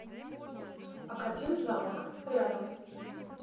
академзамок рядом